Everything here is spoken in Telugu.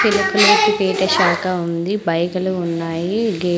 పేట శాఖా ఉంది బైకు లు ఉన్నాయి గే --